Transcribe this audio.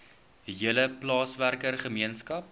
hele plaaswerker gemeenskap